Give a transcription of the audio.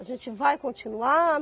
A gente vai continuar?